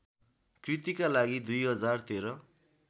कृतिका लागि २०१३